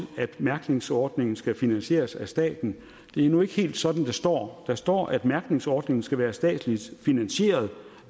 at mærkningsordningen skal finansieres af staten det er nu ikke helt sådan det står der står at mærkningsordningen skal være statsligt finansieret